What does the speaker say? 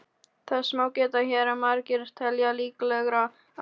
Þess má geta hér að margir telja líklegra að